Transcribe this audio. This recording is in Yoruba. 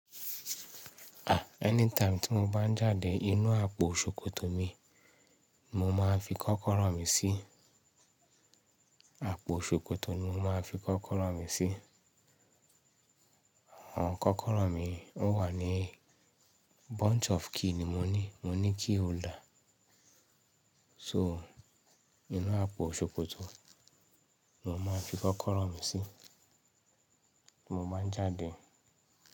Anytime tí mo bá ń jáde inú àpò ṣòkòtò mi, mo máa ń fi kọ́kọ́rọ́ mi sí. Àpò ṣòkòtò ni mo máa ń fi kọ́kọ́rọ́ mi sí. Àwọn kọ́kọ́rọ́ mi wà ní bunch of key ni mo ní. Mo ní key holder. So, inú àpò ṣòkòtò ni mo máa ń fi kọ́kọ́rọ́ mi sí tí mo bá ń jáde.